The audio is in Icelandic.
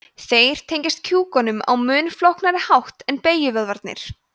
þeir tengjast kjúkunum á mun flóknari hátt en beygjuvöðvarnir